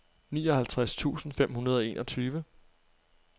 nioghalvtreds tusind fem hundrede og enogtyve